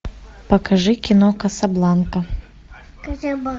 покажи кино касабланка